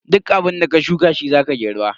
Duk abunda ka shuka shi zaka girba.